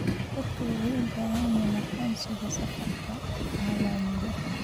Dadku waxay u baahan yihiin aqoonsiga safarka caalamiga ah.